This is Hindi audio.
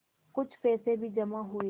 कुछ पैसे भी जमा हुए